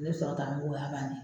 Ni sɔrɔtanin bɛ ye o y'a banni ye.